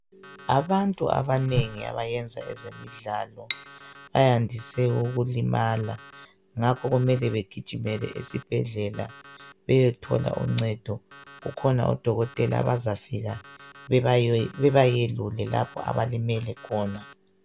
Abantu abanengi abayenza ezemidlalo bayandise ukulimala ngako kumele begijimele esibhedlela ukuze beyethole uncedo. Kukhona odokotela abazafika bebayelule lapho abalimale khona.